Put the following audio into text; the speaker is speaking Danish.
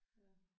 Ja